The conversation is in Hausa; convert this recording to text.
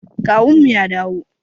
Kawunmu ya dawo.